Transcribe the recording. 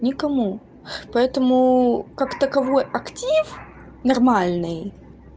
некому поэтому как таковой актив нормальный